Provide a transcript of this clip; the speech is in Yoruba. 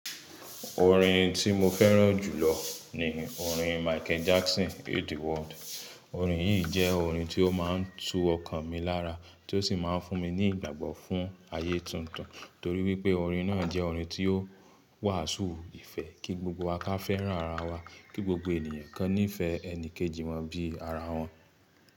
Orin tí mo fẹ́ràn jùlọ ni orin Michael Jackson Heal the World. Orin yìí jẹ́ orin tí ó máa ń tú ọkàn mi lára, tí ó sì máa ń fún mi ní ìgbàgbọ́ fún ayé tuntun, torí wípé orin náà jẹ́ orin tí ó wàásù ìfẹ́ kí gbogbo wa ká fẹ́ràn ara wa, kí gbogbo ènìyàn kan ní ìfẹ́ ẹni kejì wọ́n bí ara wọn.